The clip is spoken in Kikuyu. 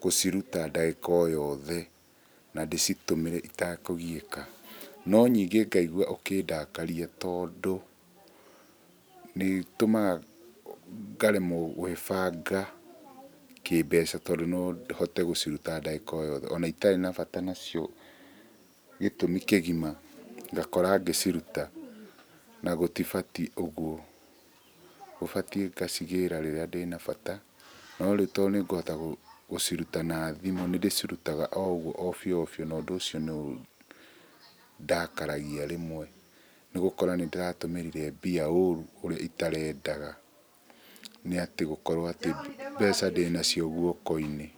gũciruta ndagĩka o yothe na ndĩcitũmĩre ĩtekũgiyĩka. No ningĩ ngaigua ũkĩndakaria tondũ nĩ ĩtũmaga ngaremwo gwĩbanga kĩmbeca tondũ no hote gũciruta ndagĩka o yothe ona ĩtarĩ na bata nacio, gĩtũmi kĩgima ngakora ngĩciruta na gũtibatiĩ ũguo. Gũbatiĩ ngacigĩra rĩrĩa ndĩnabata no rĩu tondũ nĩ ngũhota gũciruta na thimũ nĩ ndĩcirutaga oũguo o bĩũ na ũndũ ũcio nĩ ũndakaragia rĩmwe nĩgũkora nĩ ndĩratũmĩrire mbia ũru ũria ĩtarendaga, nĩ atĩ gũkorwo atĩ mbeca ndĩnacio guoko-inĩ.